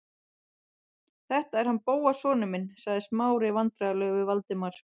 Þetta er hann Bóas sonur minn- sagði Smári vandræðalegur við Valdimar.